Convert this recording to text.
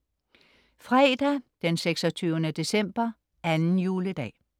Fredag 26. december, anden juledag